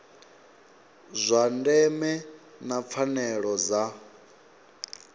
zwa ndeme na pfanelo dza